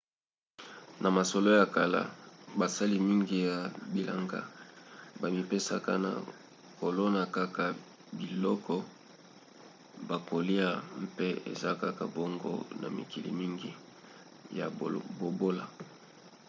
na masolo ya kala basali mingi ya bilanga bamipesaka na kolona kaka biloko bakolya mpe eza kaka bongo na mikili mingi ya bobola